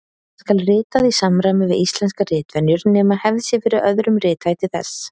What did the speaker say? Það skal ritað í samræmi við íslenskar ritvenjur nema hefð sé fyrir öðrum rithætti þess.